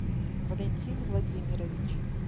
валентин владимирович